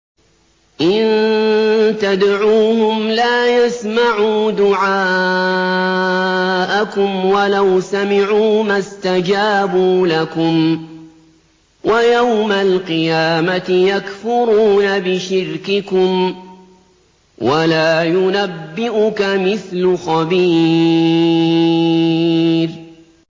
إِن تَدْعُوهُمْ لَا يَسْمَعُوا دُعَاءَكُمْ وَلَوْ سَمِعُوا مَا اسْتَجَابُوا لَكُمْ ۖ وَيَوْمَ الْقِيَامَةِ يَكْفُرُونَ بِشِرْكِكُمْ ۚ وَلَا يُنَبِّئُكَ مِثْلُ خَبِيرٍ